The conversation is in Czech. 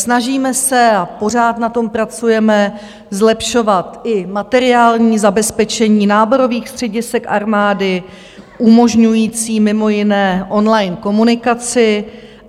Snažíme se, a pořád na tom pracujeme, zlepšovat i materiální zabezpečení náborových středisek armády umožňující mimo jiné online komunikaci.